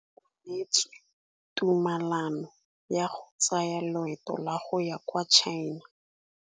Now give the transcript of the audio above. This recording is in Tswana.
O neetswe tumalanô ya go tsaya loetô la go ya kwa China.